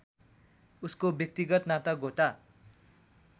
उसको व्यक्तिगत नातागोता